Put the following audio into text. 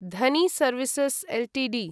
Dhoni services Ltd